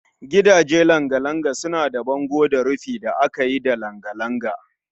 Gidaje langa-langa suna da bango da rufi da aka yi da langa-langa